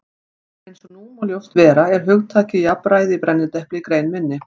Eins og nú má ljóst vera er hugtakið jafnræði í brennidepli í grein minni.